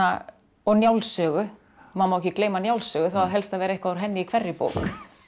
og Njálssögu maður má ekki gleyma Njálssögu það á helst að vera eitthvað úr henni í hverri bók